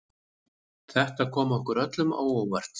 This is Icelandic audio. Þetta kom okkur öllum á óvart